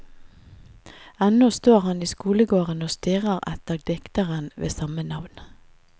Ennå står han i skolegården og stirrer etter dikteren ved samme navn.